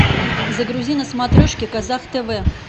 загрузи на смотрежке казах тв